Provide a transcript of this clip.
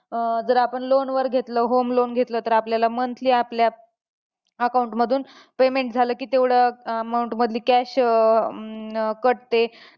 अं जर आपण loan वर घेतलं home loan घेतलं, तर आपल्याला monthly आपल्या account मधून payment झालं की तेवढं amount मधली cash अं cut होते.